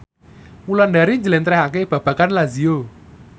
Wulandari njlentrehake babagan Lazio